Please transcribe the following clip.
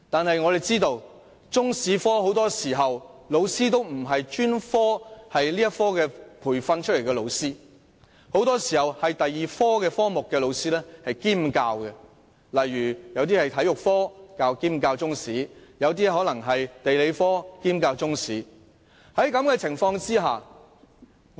可惜，很多時候，中史科老師都不是專科培訓出來，反而是其他科目的老師兼教中史，例如，體育科老師兼教中史或地理科老師兼教中史。